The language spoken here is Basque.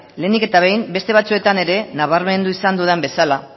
lehenik eta behin beste batzuetan ere nabarmendu izan dudan bezala